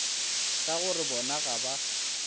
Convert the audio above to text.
ka gore bona ga ba